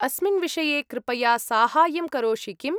अस्मिन् विषये कृपया साहाय्यं करोषि किम्‌?